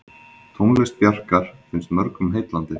Tónlist Bjarkar finnst mörgum heillandi.